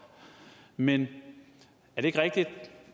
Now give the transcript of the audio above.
men er det ikke rigtigt at